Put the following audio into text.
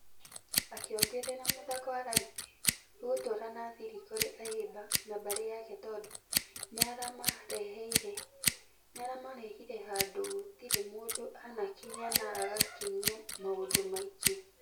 Akĩongerera mũthako wa rugby ũgũtũra na thirĩ kũrĩ ayimba na mbarĩ yake tũndũ nĩaramarehire handũ gũtĩre mũndũ anakinya na agakinyia maundũ maingĩ.